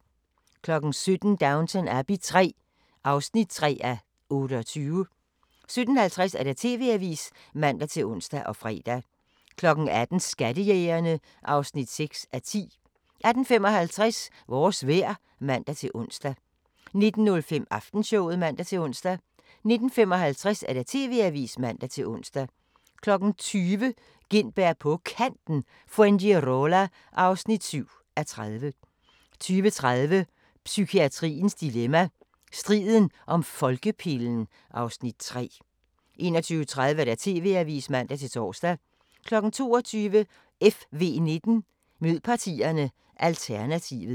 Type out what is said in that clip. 17:00: Downton Abbey III (3:28) 17:50: TV-avisen (man-ons og fre) 18:00: Skattejægerne (6:10) 18:55: Vores vejr (man-ons) 19:05: Aftenshowet (man-ons) 19:55: TV-avisen (man-ons) 20:00: Gintberg på Kanten – Fuengirola (7:30) 20:30: Psykiatriens dilemma – Striden om folkepillen (Afs. 3) 21:30: TV-avisen (man-tor) 22:00: FV19: Mød partierne – Alternativet